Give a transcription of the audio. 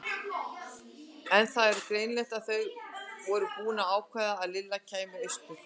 En það var greinilegt að þau voru búin að ákveða að Lilla kæmi austur.